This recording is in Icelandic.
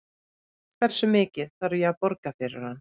Hversu mikið þarf að borga fyrir hann?